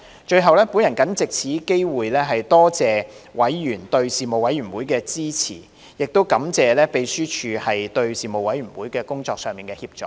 最後，我謹藉此機會多謝委員對事務委員會的支持，亦感謝秘書處在事務委員會工作上的協助。